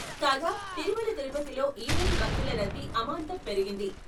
కాగా తిరుమల తిరుపతిలో ఈ రోజు భక్తుల రద్దీ అమాంతం పెరిగింది.